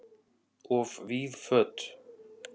Of víð föt